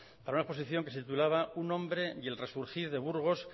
para una exposición que se titulaba un hombre y el resurgir de burgos